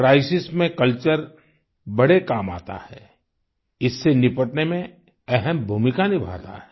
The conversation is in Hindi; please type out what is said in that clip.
क्राइसिस में कल्चर बड़े काम आता है इससे निपटने में अहम् भूमिका निभाता है